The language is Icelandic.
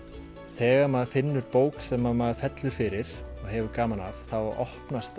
þegar maður finnur bók sem maður fellur fyrir og hefur gaman af þá opnast